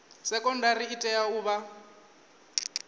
sekondari i tea u vha